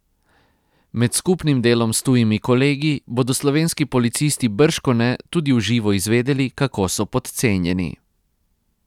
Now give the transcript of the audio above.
Med skupnim delom s tujimi kolegi bodo slovenski policisti bržkone tudi v živo izvedeli, kako so podcenjeni.